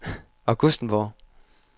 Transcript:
Augustenborg